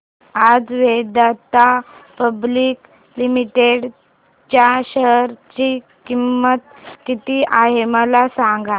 आज Vedanta public limited च्या share ची किंमत किती आहे मला सांगा